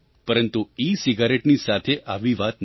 પરંતુ ઇસિગારટેની સાથે આવી વાત નથી